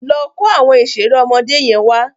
Lọ kó àwọn ìṣeré ọmọdé yẹn wá.